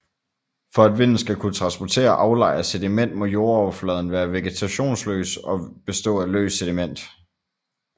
For at vinden skal kunne transportere og aflejre sediment må jordoverfladen være vegetationsløs og bestå af løst sediment